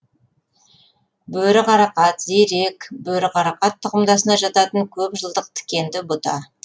бөріқарақат зерек бөріқарақат тұқымдасына жататын көп жылдық тікенді бұта